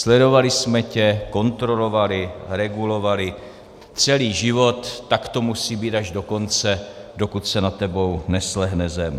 Sledovali jsme tě, kontrolovali, regulovali celý život, tak to musí být až do konce, dokud se nad tebou neslehne zem.